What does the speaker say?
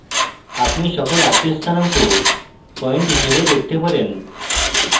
আপনি সকল আটটি স্থানাঙ্ক পয়েন্ট হিসাবে দেখতে পারেন